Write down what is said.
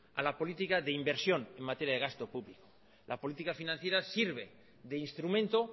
a la política de inversión en materia de gasto público la política financiera sirve de instrumento